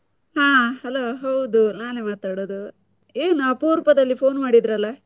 ಹಾ hello ಹೌದು, ನಾನೆ ಮಾತಾಡೋದು, ಏನ್ ಅಪರೂಪದಲ್ಲಿ phone ಮಾಡಿದ್ರಲ್ಲ?